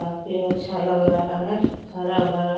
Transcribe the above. काफी अच्छा लग रहा है हरा-भरा --